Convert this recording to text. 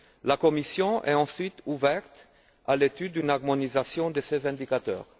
La Commission est ensuite ouverte à l'étude d'une harmonisation de ces indicateurs.